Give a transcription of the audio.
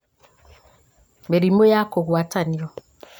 mĩrimũ ya kũgwatanio